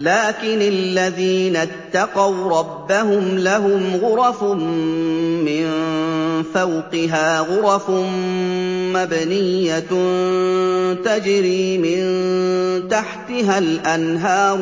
لَٰكِنِ الَّذِينَ اتَّقَوْا رَبَّهُمْ لَهُمْ غُرَفٌ مِّن فَوْقِهَا غُرَفٌ مَّبْنِيَّةٌ تَجْرِي مِن تَحْتِهَا الْأَنْهَارُ ۖ